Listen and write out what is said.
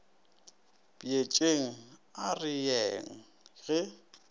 bjetšeng a re yeng ge